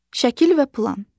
Şəkil və plan.